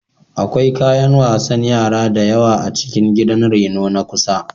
Akwai kayan wasan yara da yawa a cikin gidan reno na kusa.